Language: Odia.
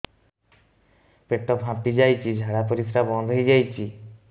ପେଟ ଫାମ୍ପି ଯାଇଛି ଝାଡ଼ା ପରିସ୍ରା ବନ୍ଦ ହେଇଯାଇଛି